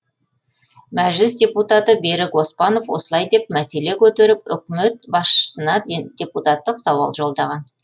мәжіліс депутаты берік оспанов осылай деп мәселе көтеріп үкімет басшысына депутаттық сауал жолдаған